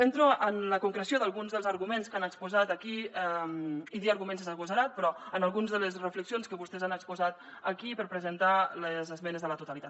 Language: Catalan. entro en la concreció d’alguns dels arguments que han exposat aquí i dir arguments és agosarat però en algunes de les reflexions que vostès han exposat aquí per presentar les esmenes a la totalitat